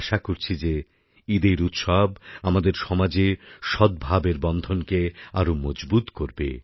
আশা করছি যে ঈদের উৎসব আমাদের সমাজে সদ্ভাবের বন্ধনকে আরও মজবুত করবে